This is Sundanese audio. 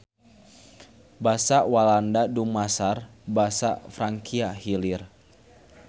Basa Walanda dumasar basa Frankia Hilir.